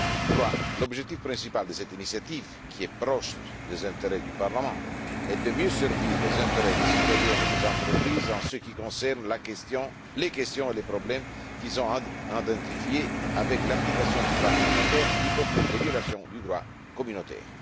troisièmement, l'objectif principal de cette initiative qui est proche des intérêts du Parlement est de mieux servir les intérêts des citoyens et des entreprises en ce qui concerne les questions et les problèmes qu'ils ont identifiés dans l'application du droit communautaire, y compris les violations du droit communautaire